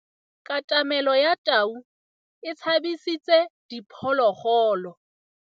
Katamêlô ya tau e tshabisitse diphôlôgôlô.